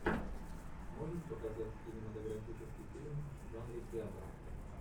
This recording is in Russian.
можешь показать кинематографический фильм в жанре театр